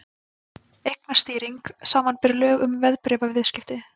Eignastýring, samanber lög um verðbréfaviðskipti.